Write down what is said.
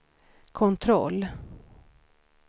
kontroll